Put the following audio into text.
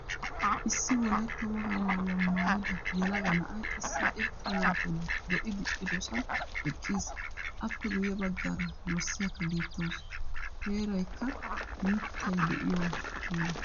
Issi wolaytta wogaa maayuwaa maayida yelaga na'ay issi irxxaa maatay lo'i diccidosan eqqiis. Appe guye baggaara dorssiyaka beetawusu. Heeraykka miittay de'iyo heera.